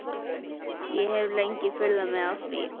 Ég hef lengi furðað mig á því.